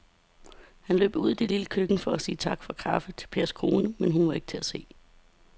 Han løb ud i det lille køkken for at sige tak for kaffe til Pers kone, men hun var ikke til at se.